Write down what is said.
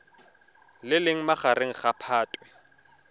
le leng magareng ga phatwe